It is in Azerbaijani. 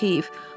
Çox heyf.